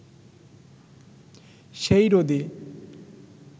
সেই রোদে